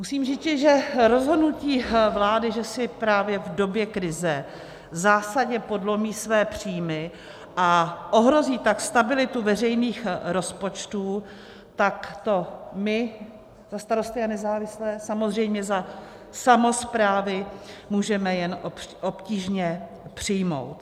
Musím říci, že rozhodnutí vlády, že si právě v době krize zásadně podlomí své příjmy, a ohrozí tak stabilitu veřejných rozpočtů, tak to my za Starosty a nezávislé, samozřejmě za samosprávy, můžeme jen obtížně přijmout.